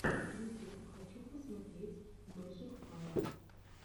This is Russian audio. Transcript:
ютюб хочу посмотреть мэджик файв